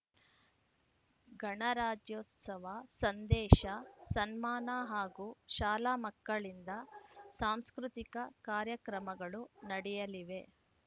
ಗಣರಾಜ್ಯೋತ್ಸವ ಸಂದೇಶ ಸನ್ಮಾನ ಹಾಗೂ ಶಾಲಾ ಮಕ್ಕಳಿಂದ ಸಾಂಸ್ಕೃತಿಕ ಕಾರ್ಯಕ್ರಮಗಳು ನಡೆಯಲಿವೆ